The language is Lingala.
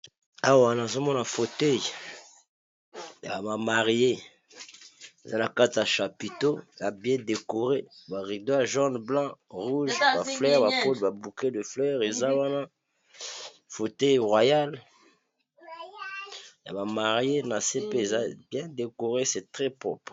Awa nazomona foteuil ya ba marie eza na kati ya chapiteau ya bien decoré ba rideau, jaune, blanc, rouge ba fleur, bapode, ba bouket de fleur eza wana, fauteuil royal ya ba marie na se pe eza bien decoré se trè propre.